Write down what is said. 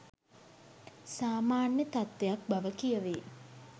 සාමාන්‍ය තත්වයක් බව කියවේ